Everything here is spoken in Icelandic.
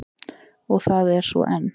Og það er svo enn.